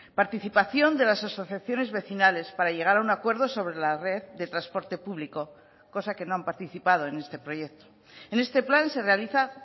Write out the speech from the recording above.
participación de las asociaciones vecinales para llegar a un acuerdo sobre la red de transporte público cosa que no han participado en este proyecto en este plan se realiza